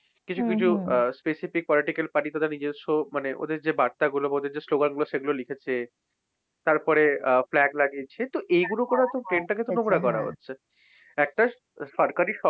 কিছু video আহ specific political party তাদের নিজস্ব মানে ওদের যে বার্তাগুলো বা ওদের স্লোগানগুলো সেগুলো লিখেছে। তারপরে আহ flag লাগিয়েছে, তো এইগুলো করেতো train টাকেতো নোংরা করা হচ্ছে। একটা সরকারি,